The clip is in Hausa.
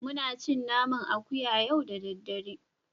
Muna cin naman akuya yau da daddare